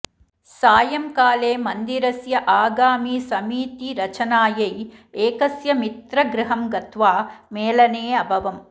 सायंकाले मन्दिरस्य आगामिसमीतिरचनायै एकस्य मित्र गृहं गत्वा मेलने अभवम्